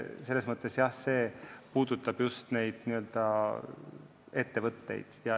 Selles mõttes puudutab see just neid ettevõtteid.